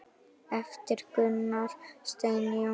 eftir Gunnar Stein Jónsson